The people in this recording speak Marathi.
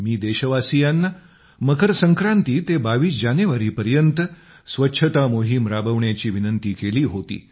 मी देशवासियांना मकर संक्रांती ते 22 जानेवारीपर्यंत स्वच्छता मोहीम राबविण्याची विनंती केली होती